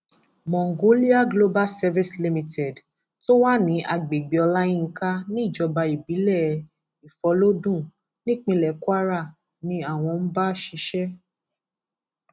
mongolia global service limited tó wà ní agbègbè olayinka níjọba ìbílẹ ìfọlọdún nípínlẹ kwara ni àwọn ń bá ṣiṣẹ